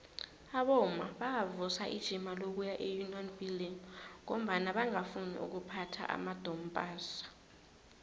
abomma bavusa ijima lokuya eunion buildings ngombana bangafuni ukuphatha amadompass